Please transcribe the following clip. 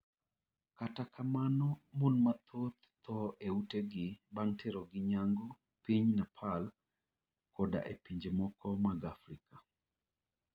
Kata kamano mon mathoth thoo e utegi bang' terogi nyangu piny Nepal koda e pinje moko mag Afrika.